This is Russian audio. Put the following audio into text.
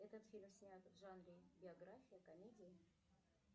этот фильм снят в жанре биография комедия